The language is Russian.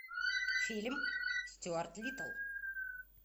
фильм стюарт литтл